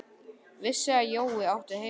Vissi að Jói átti heima hérna.